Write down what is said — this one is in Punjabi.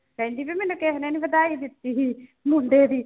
ਕਹਿੰਦੀ ਵੀ ਮੈਨੂੰ ਕਿਸੇ ਨੇ ਨੀ ਵਧਾਈ ਦਿੱਤੀ ਸੀ ਮੁੰਡੇ ਦੀ।